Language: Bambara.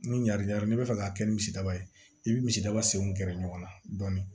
Ni ɲa n'i bɛ fɛ k'a kɛ ni misidaba ye i bi misidaba senw gɛrɛ ɲɔgɔn na dɔɔnin